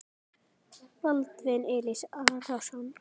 Baldvin Elís Arason.